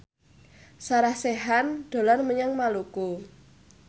Sarah Sechan dolan menyang Maluku